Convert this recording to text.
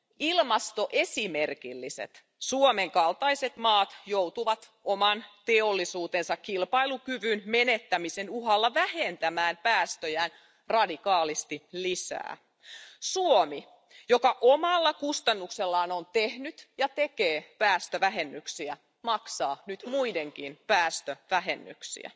Ilmastoesimerkilliset Suomen kaltaiset maat, joutuvat oman teollisuutensa kilpailukyvyn menettämisen uhalla vähentämään päästöjään radikaalisti lisää. Suomi, joka omalla kustannuksellaan on tehnyt ja tekee päästövähennyksiä, maksaa nyt muidenkin päästövähennyksiä.